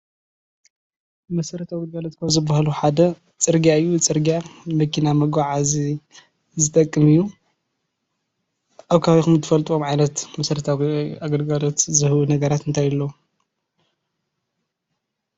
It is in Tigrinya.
መሰረታዊ ግልጋሎት ካብ ዝበሃሉ ሓደ ጽርግያ እዩ። ፅርግያ መኪና መጓዓዚ ዝጠቅም እዩ ።ኣብ ከባቢኩምትፈልጥዎም ዓይነት መሰረታዊ ግልጋሎት ዝህቡ ነገራት እንታይ ኣለዉ ?